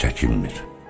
Çəkinmir.